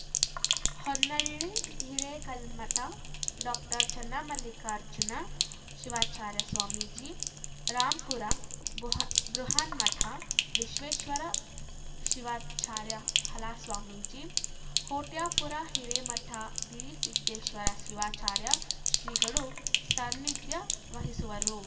Honnali Hirekalmath doctor Channamallikarjuna Shivacharya Swamiji Rampura ಭೂಹ ಬೃಹನ್ಮಠ ವಿಶ್ವೇಶ್ವರ ಶಿವಾಚಾರ್ಯ ಹಾಲಸ್ವಾಮೀಜಿ ಹೊಟ್ಯಾಪುರ ಹಿರೇಮಠ ಗಿರಿಸಿದ್ದೇಶ್ವರ ಶಿವಾಚಾರ್ಯ ಶ್ರೀಗಳು ಸನ್ನಿಧ್ಯ ವಹಿಸುವರು